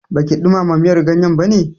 Baki ɗumama miyar ganyen bane?